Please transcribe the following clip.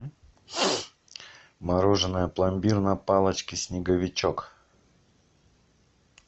мороженое пломбир на палочке снеговичок